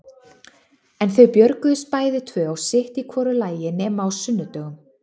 En þau björguðust bæði tvö og sitt í hvoru lagi nema á sunnudögum.